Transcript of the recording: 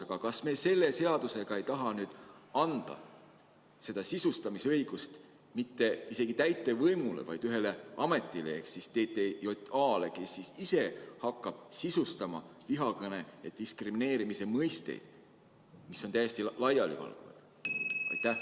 Aga kas me selle seaduseelnõuga ei taha anda seda sisustamisõigust isegi mitte täitevvõimule, vaid ühele ametile ehk TTJA-le, kes ise hakkab sisustama vihakõne ja diskrimineerimise mõisteid, mis on täiesti laialivalguvad?